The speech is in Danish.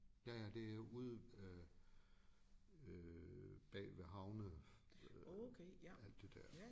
Ja ja det ude øh øh bagved havne alt det der